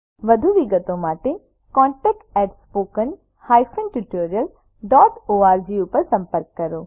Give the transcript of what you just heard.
વધુ વિગતો માટે contactspoken tutorialorg પર સંપર્ક કરો